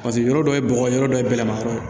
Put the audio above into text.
Paseke yɔrɔ dɔ ye bɔgɔ yɔrɔ dɔ ye bɛlɛma yɔrɔ ye